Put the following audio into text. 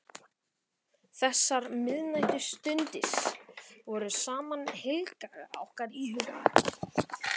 Þessar miðnæturstundir voru samt heilagar í okkar huga.